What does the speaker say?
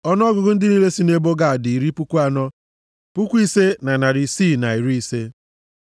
Ọnụọgụgụ ndị niile sị nʼebo Gad dị iri puku anọ, puku ise na narị isii na iri ise (45,650).